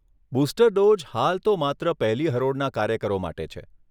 Booster dose હાલ તો માત્ર પહેલી હરોળના કાર્યકરો માટે છે.